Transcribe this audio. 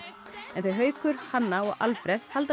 en þau Haukur Hanna og Alfreð halda